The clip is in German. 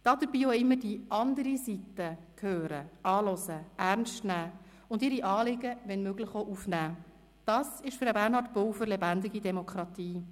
Dabei auch immer die andere Seite zu vernehmen, anzuhören und ernst zu nehmen und ihre Anliegen wenn möglich aufzunehmen, ist für Bernhard Pulver lebendige Demokratie.